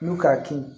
N'u k'a kin